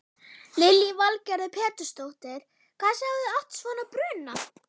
Lillý Valgerður Pétursdóttir: Hvað sjáið þið oft svona bruna?